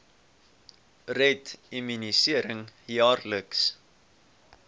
red immunisering jaarliks